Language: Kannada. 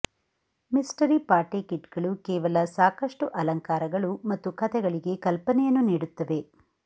ಮಿಸ್ಟರಿ ಪಾರ್ಟಿ ಕಿಟ್ಗಳು ಕೇವಲ ಸಾಕಷ್ಟು ಅಲಂಕಾರಗಳು ಮತ್ತು ಕಥೆಗಳಿಗೆ ಕಲ್ಪನೆಯನ್ನು ನೀಡುತ್ತವೆ